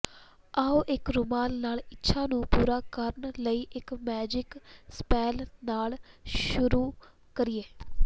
ਆਉ ਇੱਕ ਰੁਮਾਲ ਨਾਲ ਇੱਛਾ ਨੂੰ ਪੂਰਾ ਕਰਨ ਲਈ ਇੱਕ ਮੈਜਿਕ ਸਪੈੱਲ ਨਾਲ ਸ਼ੁਰੂ ਕਰੀਏ